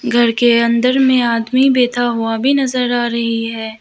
घर के अंदर में आदमी बैठा हुआ भी नजर आ रही है।